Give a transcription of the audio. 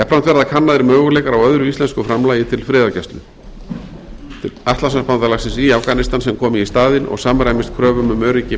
verða kannaðir möguleikar á öðru íslensku framlagi til friðargæslu atlantshafsbandalagsins í afganistan sem komi í staðinn og samræmist kröfum um öryggi